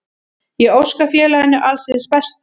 Ég óska félaginu alls hins besta.